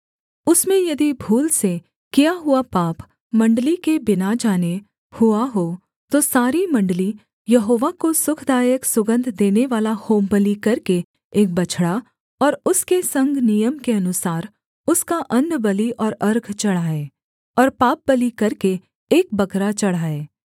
उसमें यदि भूल से किया हुआ पाप मण्डली के बिना जाने हुआ हो तो सारी मण्डली यहोवा को सुखदायक सुगन्ध देनेवाला होमबलि करके एक बछड़ा और उसके संग नियम के अनुसार उसका अन्नबलि और अर्घ चढ़ाए और पापबलि करके एक बकरा चढ़ाए